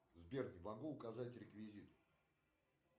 сбер не могу указать реквизиты